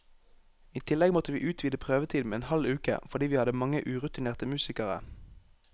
I tillegg måtte vi utvide prøvetiden med en halv uke, fordi vi hadde mange urutinerte musikere.